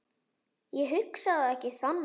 Ég hugsa það ekki þannig.